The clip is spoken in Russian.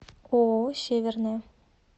ооо северная